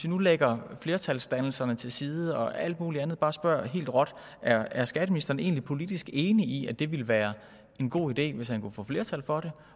nu lægger vi flertalsdannelserne til side og alt muligt andet og spørger bare helt råt er er skatteministeren egentlig politisk enig i at det ville være en god idé hvis han kunne få flertal for det